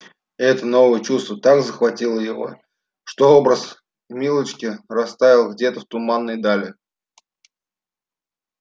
это новое чувство так захватило его что образ милочки растаял где-то в туманной дали